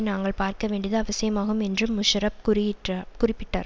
நாங்கள் பார்க்க வேண்டியது அவசியமாகும் என்று முஷாரப் குறியிட்ரா குறிப்பிட்டார்